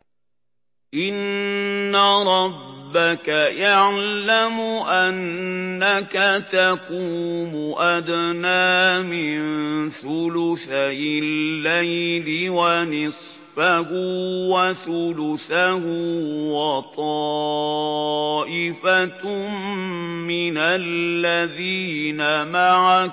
۞ إِنَّ رَبَّكَ يَعْلَمُ أَنَّكَ تَقُومُ أَدْنَىٰ مِن ثُلُثَيِ اللَّيْلِ وَنِصْفَهُ وَثُلُثَهُ وَطَائِفَةٌ مِّنَ الَّذِينَ مَعَكَ ۚ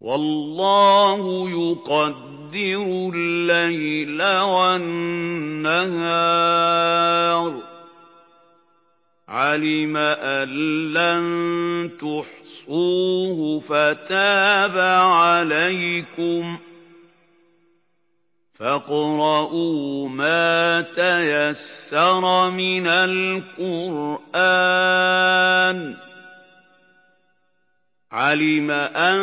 وَاللَّهُ يُقَدِّرُ اللَّيْلَ وَالنَّهَارَ ۚ عَلِمَ أَن لَّن تُحْصُوهُ فَتَابَ عَلَيْكُمْ ۖ فَاقْرَءُوا مَا تَيَسَّرَ مِنَ الْقُرْآنِ ۚ عَلِمَ أَن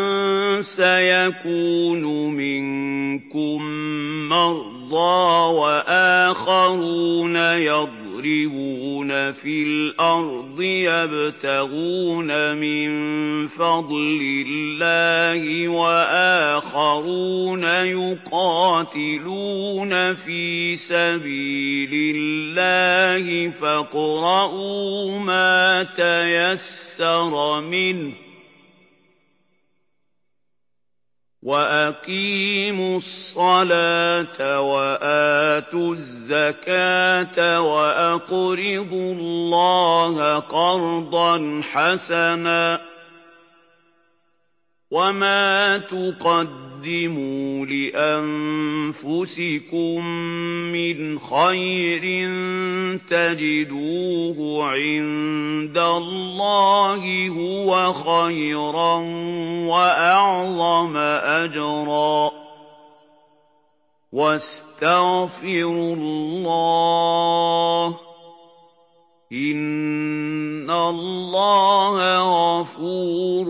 سَيَكُونُ مِنكُم مَّرْضَىٰ ۙ وَآخَرُونَ يَضْرِبُونَ فِي الْأَرْضِ يَبْتَغُونَ مِن فَضْلِ اللَّهِ ۙ وَآخَرُونَ يُقَاتِلُونَ فِي سَبِيلِ اللَّهِ ۖ فَاقْرَءُوا مَا تَيَسَّرَ مِنْهُ ۚ وَأَقِيمُوا الصَّلَاةَ وَآتُوا الزَّكَاةَ وَأَقْرِضُوا اللَّهَ قَرْضًا حَسَنًا ۚ وَمَا تُقَدِّمُوا لِأَنفُسِكُم مِّنْ خَيْرٍ تَجِدُوهُ عِندَ اللَّهِ هُوَ خَيْرًا وَأَعْظَمَ أَجْرًا ۚ وَاسْتَغْفِرُوا اللَّهَ ۖ إِنَّ اللَّهَ غَفُورٌ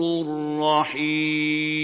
رَّحِيمٌ